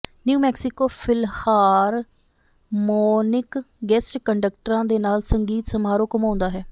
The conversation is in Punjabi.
ਨਿਊ ਮੈਕਸੀਕੋ ਫਿਲਹਾਰਮੋਨਿਕ ਗੈਸਟ ਕੰਡਕਟਰਾਂ ਦੇ ਨਾਲ ਸੰਗੀਤ ਸਮਾਰੋਹ ਘੁੰਮਾਉਂਦਾ ਹੈ